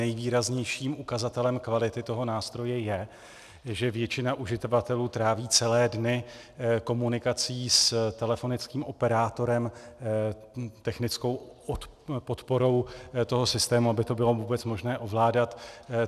Nejvýraznějším ukazatelem kvality toho nástroje je, že většina uživatelů tráví celé dny komunikací s telefonickým operátorem, technickou podporou toho systému, aby to bylo vůbec možné ovládat.